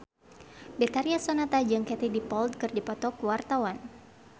Betharia Sonata jeung Katie Dippold keur dipoto ku wartawan